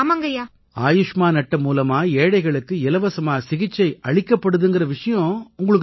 ஆயுஷ்மான் அட்டை மூலமா ஏழைகளுக்கு இலவசமா சிகிச்சை அளிக்கப்படுதுங்கற விஷயம் உங்களுக்குத் தெரியுமா